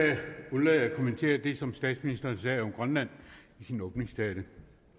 undlade at kommentere det som statsministeren sagde om grønland i sin åbningstale